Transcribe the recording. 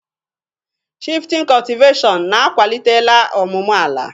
Shifutin cọtiveshịon na-akwalitela ọmụmụ ala.